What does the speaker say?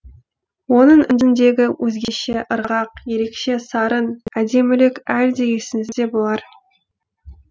оның үніндегі өзгеше ырғақ ерекше сарын әдемілік әлі де есіңізде болар